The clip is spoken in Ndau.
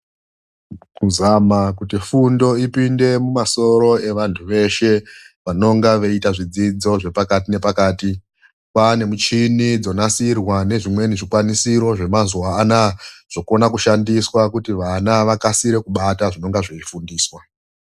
Kuzama kuti fundo ipinde mumasoro evantu veshe, vanonga veiita zvidzidzo zvepakati-nepakati. Kwaane michini dzonasirwa nezvimweni zvikwanisiro zvemazuwa an, zvokona kushandiswa kuti vana vakasire kubata zvinonga zveifundiswa.